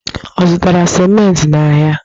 Ọ zụtara simenti n'ahịa?